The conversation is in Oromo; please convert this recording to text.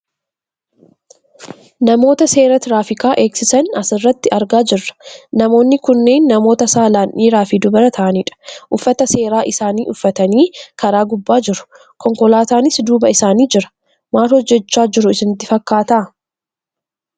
Namoota seera tiraafikaa eegsisan asirratti argaa jirra. Namoonni kunneen namoota saalaan dhiiraafi dubara ta'anidha. Uffata seeraa isaanii uffataniit karaa gubbaa jiru. Konkolaataanis duuba isaanii jira. Maal hojjachaa jiru isinitti fakkaata?